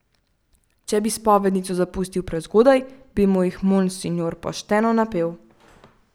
Če bi spovednico zapustil prezgodaj, bi mu jih monsinjor pošteno napel.